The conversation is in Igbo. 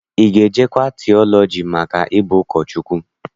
Ị ga-ejekwa tiọlọji maka ịbụ ụkọchukwu?